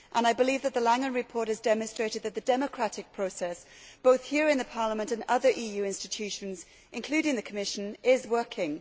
I believe that the Langen report has demonstrated that the democratic process, both here in the Parliament and other EU institutions, including the Commission, is working.